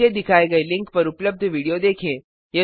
नीचे दिखाए गए लिंक पर उपलब्ध वीडियो देखें